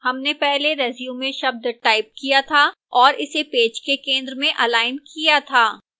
हमने पहले resume शब्द टाइप किया था और इसे पेज के केंद्र में अलाइन किया था